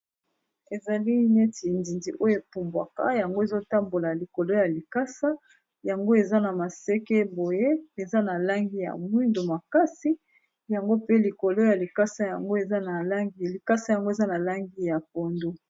Ezali neti nzinzi oyo epumbwaka yango ezotambola likolo ya likasa yango eza na maseke boye eza na langi ya mwindu makasi yango pe likolo ya likasa yango likasa yango eza na langi ya pondu.